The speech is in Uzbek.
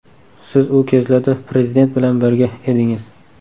Siz u kezlarda Prezident bilan birga edingiz.